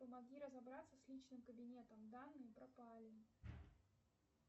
помоги разобраться с личным кабинетом данные пропали